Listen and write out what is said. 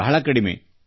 ಬಹಳ ಕಡಿಮೆ